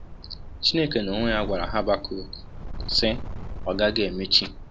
Chineke n’onwe ya gwara Habakọk, sị: Ọ gaghị emechi!